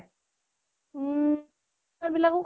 উম । চোৰ বিলাকো